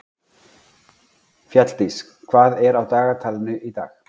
Fjalldís, hvað er á dagatalinu í dag?